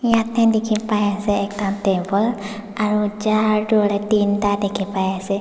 yatae dikhipai ase ekta table aro cahar toh hoilae teenta dikhipaiase.